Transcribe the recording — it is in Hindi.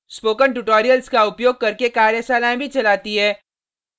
spoken tutorials का उपयोग करके कार्यशालाएँ भी चलाती है